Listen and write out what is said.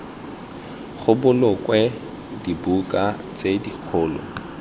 go bolokwe dibuka tse dikgolo